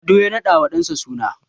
Lado ya radawa ɗansa suna